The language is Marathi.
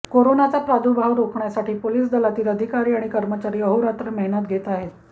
करोनाचा प्रादुर्भाव रोखण्यासाठी पोलीस दलातील अधिकारी आणि कर्मचारी अहोरात्र मेहनत घेत आहेत